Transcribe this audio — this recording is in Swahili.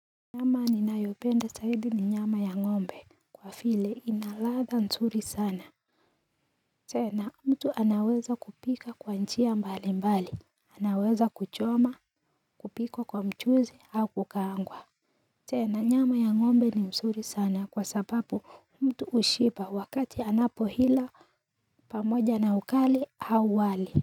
Nyama ni nayopenda sahidi ni nyama ya ng'ombe kwa file inaladha msuri sana tena mtu anaweza kupika kwa njia mbali mbali anaweza kuchoma kupiko kwa mchuzi au kukangwa tena nyama ya ng'ombe ni msuri sana kwa sababu mtu ushipa wakati anapo hila pamoja na ukali au wali.